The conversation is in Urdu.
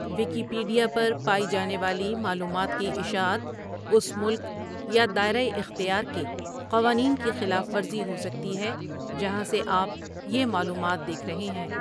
ویکیپیڈیا پر پائی جانے والی معلومات کی اشاعت اس ملک یا دائرہ اختیار کے قوانین کی خلاف ورزی ہو سکتی ہے جہاں سے آپ یہ معلومات دیکھ رہے ہیں۔